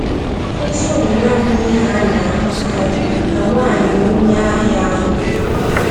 “Ezi omume abụghị ihe a na-ahụkarị,” ka nwanyị onye ahịa ahụ kwuru.